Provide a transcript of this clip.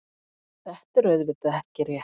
Þetta er auðvitað ekki rétt.